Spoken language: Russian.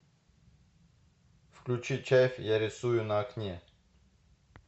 включи чайф я рисую на окне